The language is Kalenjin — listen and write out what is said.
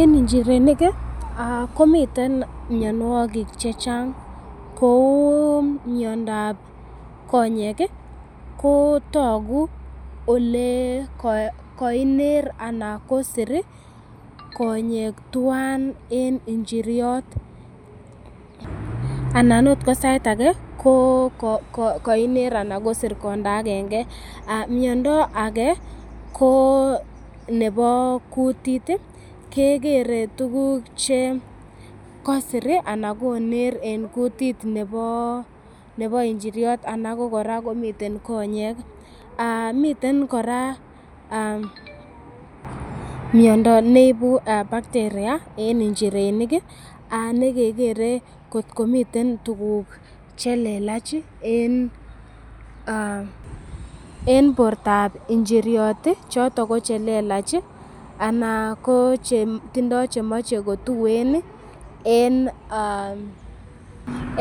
En injirenik komiten mianwogik che chang kou miondab konyek ko togu ole koiner anan kosir konyek twan en injiriot anan ot ko sait age kokoiner ana kosir konda agenge. Miondo age ko nebo kutit, kegere tuguk che kosir ana koner en kutit nebo injiriot ana ko kora komiten konyek. Miten kora miondo neibu bacteria en injirenik nekegere kot komiten tuguk che lelach en bortab injiryot choton ko che le lach ana ko chetindoi chemoche kotuuen